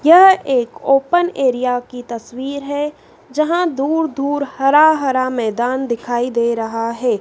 यह एक open area की तस्वीर है जहां दूर दूर हरा हरा मैदान दिखाई दे रहा है।